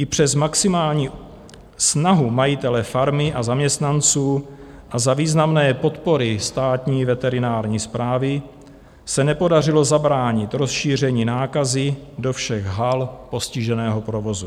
I přes maximální snahu majitele farmy a zaměstnanců a za významné podpory Státní veterinární správy se nepodařilo zabránit rozšíření nákazy do všech hal postiženého provozu.